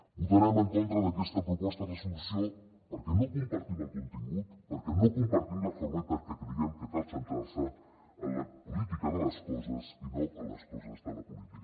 votarem en contra d’aquesta proposta de resolució perquè no compartim el contingut perquè no compartim la forma i perquè creiem que cal centrar se en la política de les coses i no en les coses de la política